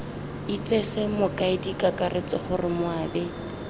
itsese mokaedi kakaretso gore moabi